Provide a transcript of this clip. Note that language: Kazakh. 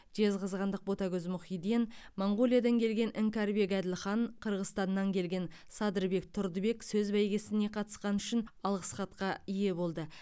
жезқазғандық ботагөз мұхиден моңғолиядан келген іңкәрбек әділхан қырғызстаннан келген садырбек тұрдыбек сөз бәйгесіне қатысқаны үшін алғыс хатқа ие болды